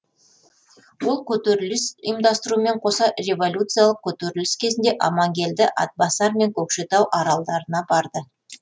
ол көтеріліс ұйымдастырумен қоса революциялық көтеріліс кезінде амангелді атбасар мен көкшетау аралдарына барды